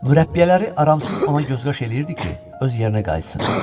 Mürəbbiyələr aramsız ona göz qaş eləyirdi ki, öz yerinə qayıtsın.